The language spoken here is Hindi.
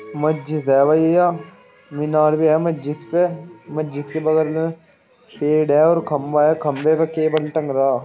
महजिद है भईया मीनार भी है महजिद पे महजिद के बगल में पेड़ है और खंभा है। खम्भे पे केबल टंग रहा।